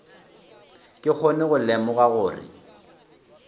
ke kgone go lemoga gore